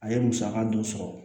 A ye musaka dɔ sɔrɔ